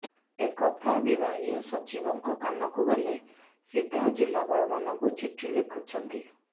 ଏ କଥା ବିଭାଗୀୟ ସଚିବଙ୍କ କାନକୁ ଗଲେ ସିଧା ଜିଲ୍ଲାପାଳମାନଙ୍କୁ ଚିଠି ଲେଖୁଛନ୍ତି